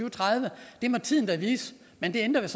og tredive må tiden da vise men det ændrer vel